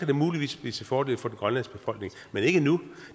det muligvis blive til fordel for den grønlandske befolkning men ikke nu